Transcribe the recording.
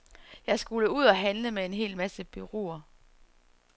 Jeg skulle ud og handle med en hel masse bureauer.